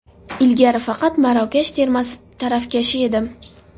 Ilgari faqat Marokash termasi tarafkashi edim.